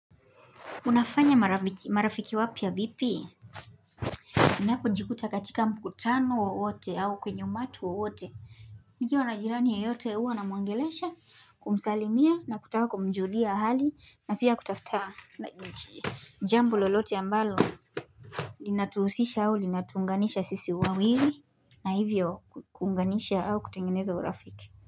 Unafanya marafiki wapya vipi? nInapo jikuta katika mkutano wowote au kwenye umati wowote. Nikiwa na jirani yeyote huwa na mwongelesha, kumsalimia na kutaka kumjulia hali na pia kutafuta. Jambo lolote ambalo linatuhusisha au linatuunganisha sisi wawili na hivyo kuunganisha au kutengeneza urafiki.